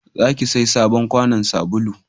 za ki saya sabon kwanon sabulu!